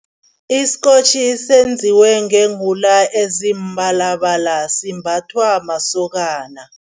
Isikotjhi senziwe ngeewula ezimabalabala, simbathwa masokana.